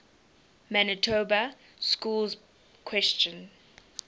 manitoba schools question